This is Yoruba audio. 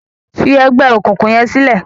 fí ègbé òkùnkùn yén silẹ!